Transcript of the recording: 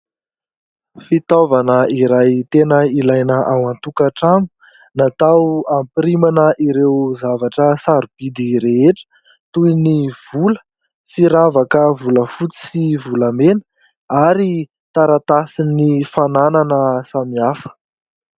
Fitaovana iray tena ilaina ao an-tokantrano, natao hampirimana ireo zavatra sarobidy rehetra toy ny vola, firavaka volafotsy sy volamena ary taratasin'ny fananana samihafa.